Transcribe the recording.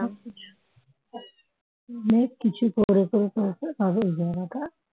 অনেক কিছু করে করে করে করে করে তবে এই জায়গাটা